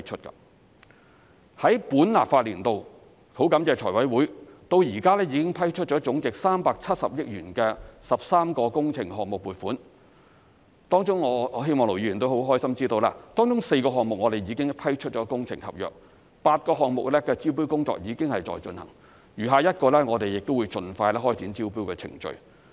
在本立法年度，感謝財務委員會，至今已批出總值370億元的13個工程項目撥款，當中我希望盧議員亦會高興知道，當中4個項目已批出工程合約 ，8 個項目的招標工作正在進行，餘下1個亦會盡快開展招標程序。